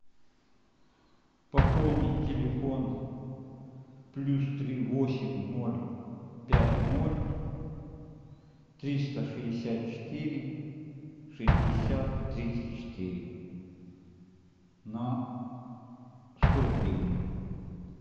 пополнить телефон плюс три восемь ноль пять ноль триста шестьдесят четыре шестьдесят тридцать четыре на сто гривен